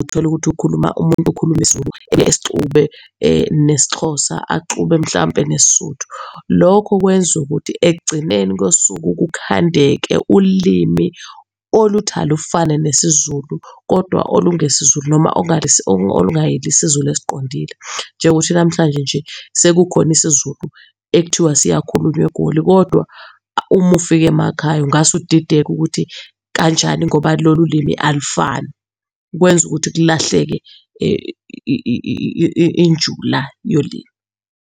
utholukuthi ukhuluma, umuntu ukhuluma isiZulu esixube nesiXhosa, axube mhlawumbe nesiSotho. Lokho kwenzukuthi ekugcineni kosuku kukhandeka ulimi oluthi alufane nesiZulu kodwa olungesiZulu noma oIungayilo isiZulu esiqondile. Njengokuthi namhlanje nje sekukhona isiZulu ekuthiwa siyakhulunywa eGoli kodwa uma ufika emakhaya ungase udideka ukuthi kanjani ngoba lolu limi alufani. Kwenza ukuthi kulahleke injula yolimi.